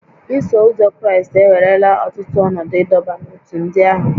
Iso Ụzọ Kraịst ewerela ọtụtụ ọnọdụ ịdọba n'ótú ndị ahụ